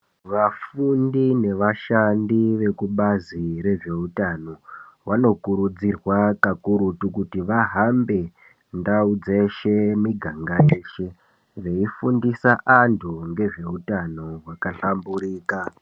Vafundi ne vashandi vekubazi rezvehutano vanokurudzirwa kakurutu kuti vahambe ndau dzeshe muganga weshe veyifundisa anhu ngezveutano hwaka hlamburika.